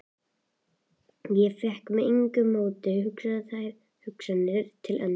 Ég fékk með engu móti hugsað þær hugsanir til enda.